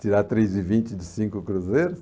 Tirar três e vinte de cinco cruzeiros.